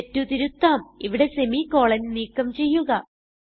തെറ്റ് തിരുത്താം ഇവിടെ semicolon160 നീക്കം ചെയ്യുക